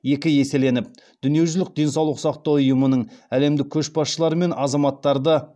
екі еселеніп дүниежүзілік денсаулық сақтау ұйымының әлемдік көшбасшылар мен азаматтарды